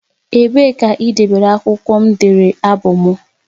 Ebee ka idebere akwụkwọ m dere abụ m?